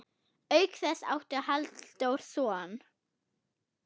Auk þess átti Halldór son.